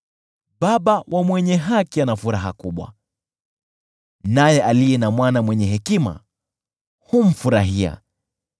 Baba wa mwenye haki ana furaha kubwa, naye aliye na mwana mwenye hekima humfurahia.